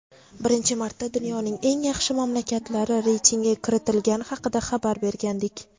birinchi marta dunyoning eng yaxshi mamlakatlari reytingiga kiritilgani xakida xabar bergandik.